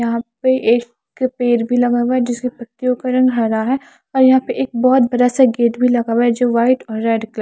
यहां पे एक पेड़ भी लगा हुआ है जिसके पत्तियां का रंग हरा है और यहां पे एक बहोत बड़ा सा गेट भी लगा हुआ है जो वाइट और रेड कलर --